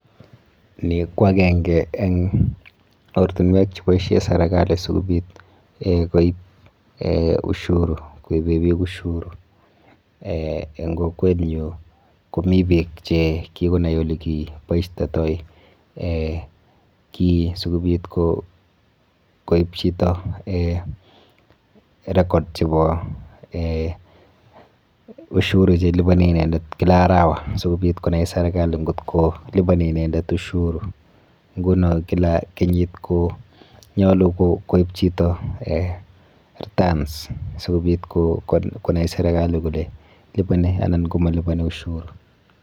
Ni kwa akenge eng ortinwek cheboisie serikali si kobit um koip um ushuru koipe piik ushuru, um eng kokwenyu komi piik che kikonai ole ki boistetoi um kii sikobit koip chito um record chebo um ushuru che liponi inendet kila arawa si kobit konai serikali ngot ko liponi inendet ushuru, nguno kila kenyit konyolu koip chito um returns sikobit konai serikali kole liponi anan komaliponi ushuru.